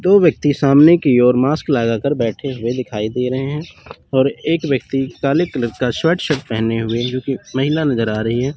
दो व्यक्ति सामने की ओर मास्क लगा कर बैठे हुए दिखाई दे रहे हैं और एक व्यक्ति काले कलर का शर्ट पहने हुए क्योंकि महिला नजर आ रही है।